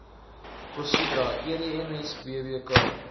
casidra edms bpk